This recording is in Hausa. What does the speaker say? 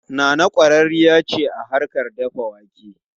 Nana kwararriya ce a harkar dafa wake.